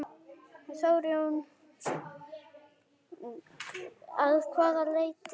Þór Jónsson: Að hvaða leyti?